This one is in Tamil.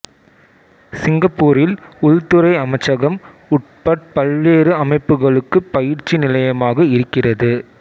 சிங்கப்பூரில் உள்துறை அமைச்சகம் உட்பட் பல்வேறு அமைப்புக்களுக்குப் பயிற்சி நிலையமாக இருக்கிறது